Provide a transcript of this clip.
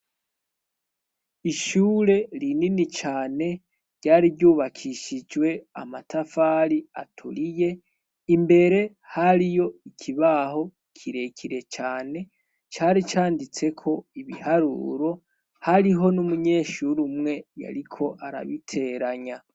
Ishure rinini cane ryari ryubakishijwe amatafari aturiye imbere hari yo ikibaho kirekire cane cari canditseko ibiharuro hariho n'umunyeshure umwe yariko arabiteranya.